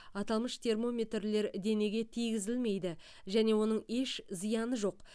аталмыш термометрлер денеге тигізілмейді және оның еш зияны жоқ